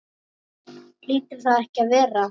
Hlýtur það ekki að vera?